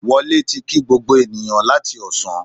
Wọlé ti kí gbogbo ènìyàn láti Ọ̀sán